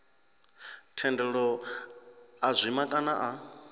thendelo a zwima kana a